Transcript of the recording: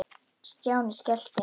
Stjáni skellti